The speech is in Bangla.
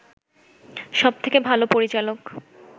সব থেকে ভাল পরিচালক